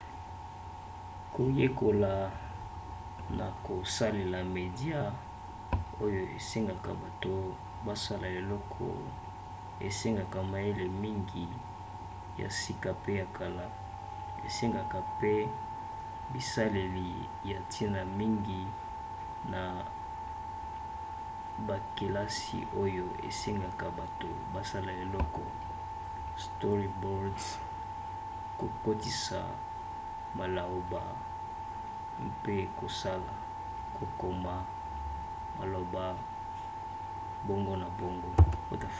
koyekola na kosalela media oyo esengaka bato basala eloko esengaka mayele mingi ya sika pe ya kala esengeka mpe bisaleli ya ntina mingi na bakelasi oyo esengaka bato basala eloko storyboard kokotisa malaoba mpe kosala kokoma malaoba bongo na bongo